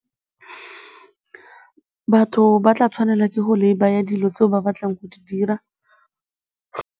Batho ba tla tshwanelwa ke go laybye-a dilo tseo ba batlang go di dira.